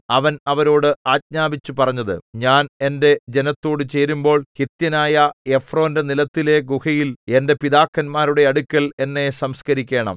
അവൻ അവരോട് ആജ്ഞാപിച്ചു പറഞ്ഞത് ഞാൻ എന്റെ ജനത്തോടു ചേരുമ്പോൾ ഹിത്യനായ എഫ്രോന്റെ നിലത്തിലെ ഗുഹയിൽ എന്റെ പിതാക്കന്മാരുടെ അടുക്കൽ എന്നെ സംസ്കരിക്കണം